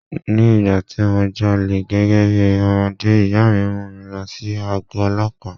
Ní ìgbà tí mo jalè gẹ́gẹ́ bí ọmọdé, ìyá mi mú mi lọ sí àgó Ọlọ́pàá.